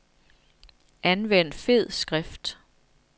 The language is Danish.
Anvend fed skrift.